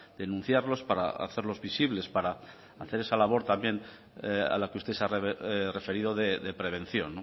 denunciarlos para hacerlos visibles para hacer esa labor también a la que usted se ha referido de prevención